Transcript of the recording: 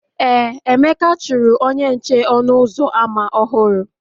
Ee, Emeka chụrụ onye nche ọnụ ụzọ ámá ọhụrụ